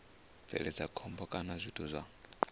bveledza khombo kana zwithu zwa